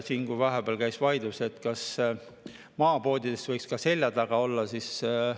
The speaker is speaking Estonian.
Vahepeal käis vaidlus, kas maapoodides võiksid pudelid olla ka selja taga.